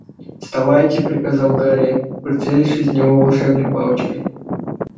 вставайте приказал гарри прицелившись в него волшебной палочкой